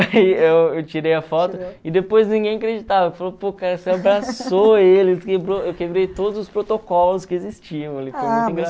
Aí eu eu tirei a foto e depois ninguém acreditava, falou, pô, cara, você abraçou ele, quebrou eu quebrei todos os protocolos que existiam ali, foi muito